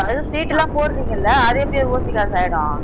இப்ப அது சீட்டு எல்லாம் போடுறீங்கள்ல அது எப்படி ஓசி காசாயிடும்